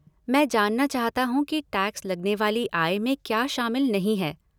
मैं जानना चाहता हूँ कि टैक्स लगने वाली आय में क्या शामिल नहीं है।